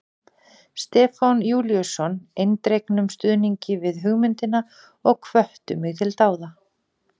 Stefán Júlíusson eindregnum stuðningi við hugmyndina og hvöttu mig til dáða.